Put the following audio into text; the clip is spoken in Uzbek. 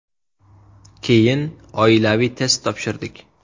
Keyin oilaviy test topshirdik.